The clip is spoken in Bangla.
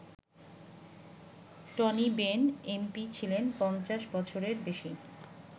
টনি বেন এমপি ছিলেন ৫০ বছরের বেশি।